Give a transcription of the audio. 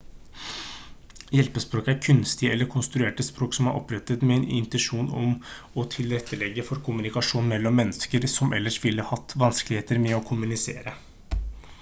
hjelpespråk er kunstige eller konstruerte språk som er opprettet med en intensjon om å tilrettelegge for kommunikasjon mellom mennesker som ellers ville hatt vanskeligheter med å kommunisere